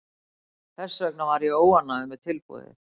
Þess vegna er ég óánægður með tilboðið.